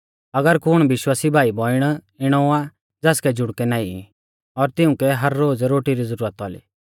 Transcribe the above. अगर कुण विश्वासी भाईबौइण इणौ आ ज़ासकै जुड़कै नाईं ई और तिउंकै हर रोज़ रोटी री ज़ुरत औली